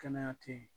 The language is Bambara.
Kɛnɛya tɛ ye